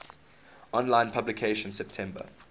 online publication september